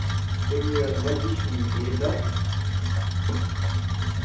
ты мне водички не передашь